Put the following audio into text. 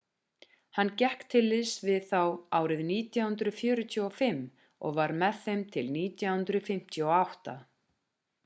hann gekk til liðs við þá árið 1945 og var með þeim til 1958